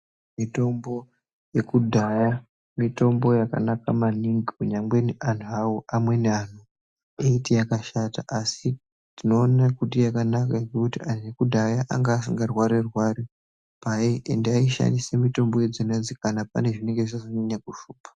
Mitombo yekudhaya mitombo yakanaka maningi kunyangweni antu hawo anweni antu eiti yakashata asi tinoona kuti yakanaka ngekuti antu ekudhaya anga asingarwari rwari aishandisa mitombo idzona idzi kana pane zvinenge zvazonyanya kushupa.